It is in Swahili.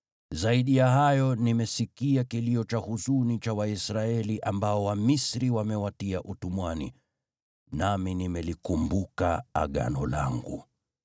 Zaidi ya hayo, nimesikia kilio cha huzuni cha Waisraeli ambao Wamisri wamewatia utumwani, nami nimelikumbuka Agano langu.